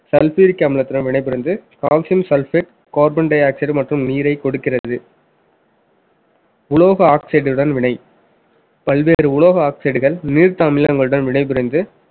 sulfuric அமிலத்துடன் வினைபுரிந்து calcium sulphate carbon dioxide மற்றும் நீரைக் கொடுக்கிறது உலோக oxide உடன் விலை பல்வேறு உலோக oxide கள் நீர்த்த அமிலங்களுடன் வினைபுரிந்து